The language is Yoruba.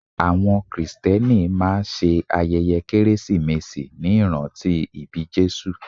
Àwọn krìstẹ́nì máa ṣe ayẹyẹ kérésìmesì ní ìrántí ìbí Jésù.